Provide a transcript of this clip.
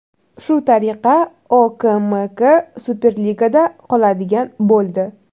Shu tariqa OKMK Superligada qoladigan bo‘ldi.